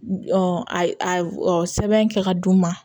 sɛbɛn kɛ ka d'u ma